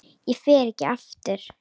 Ég fer ekki aftur.